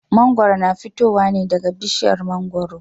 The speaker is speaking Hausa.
Mangwaro na fitowa ne daga bishiyar mangwaro.